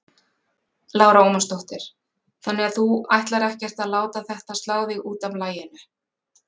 Lára Ómarsdóttir: Þannig að þú ætlar ekkert að láta þetta slá þig út af laginu?